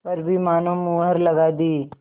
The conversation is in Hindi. पर भी मानो मुहर लगा दी